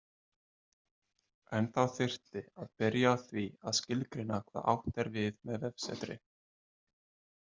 En þá þyrfti að byrja á því að skilgreina hvað átt er við með vefsetri.